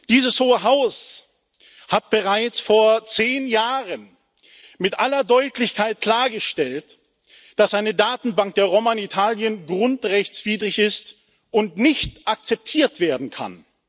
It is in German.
Dieses Hohe Haus hat bereits vor zehn Jahren mit aller Deutlichkeit klargestellt, dass eine Datenbank der Roma in Italien grundrechtswidrig ist und nicht akzeptiert werden kann.